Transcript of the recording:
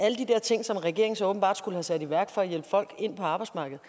ting som regeringen så åbenbart skulle have sat i værk for at hjælpe folk ind på arbejdsmarkedet